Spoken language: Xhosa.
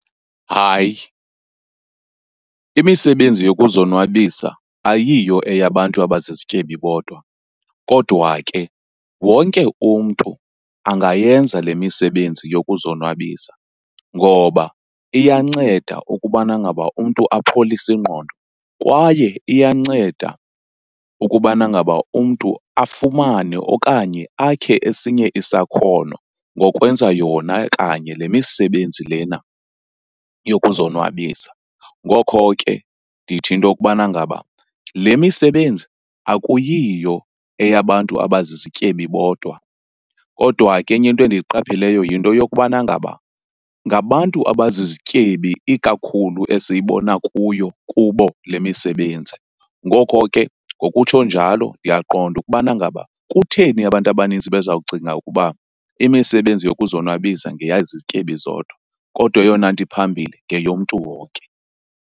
Hayi, imisebenzi yokuzonwabisa ayiyo eyabantu abazizityebi bodwa. Kodwa ke wonke umntu angayenza le misebenzi yokuzonwabisa, ngoba iyanceda ukubana ngaba umntu apholise ingqondo kwaye iyanceda ukubana ngaba umntu afumane okanye akhe esinye isakhono ngokwenza yona kanye le misebenzi lena yokuzonwabisa. Ngokho ke ndithi into okubana ngaba le misebenzi akuyiyo eyabantu abazizityebi bodwa, kodwa ke enye into endiyiqapheleyo yinto yokubana ngaba ngabantu abazizityebi ikakhulu esiyibona kuyo, kubo le misebenzi. Ngoko ke ngokutsho njalo ndiyaqonda ukubana ngaba kutheni abantu abaninzi bezawucinga ukuba imisebenzi yokuzonwabisa ngeyezityebi zodwa, kodwa eyona nto phambili ngeyomntu wonke.